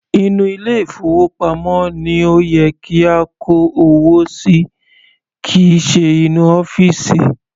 Inú ilé ìfowópamọ́ ni ó yẹ kí a kó owó sí kìí ṣe inú ọ́fìsì.